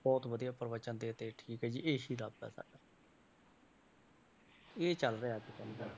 ਬਹੁਤ ਵਧੀਆ ਪ੍ਰਵਚਨ ਦਿੱਤੇ ਠੀਕ ਹੈ ਜੀ ਇਹੀ ਰੱਬ ਹੈ ਸਾਡਾ ਇਹ ਚੱਲ ਰਿਹਾ ਅੱਜ ਕੱਲ੍ਹ।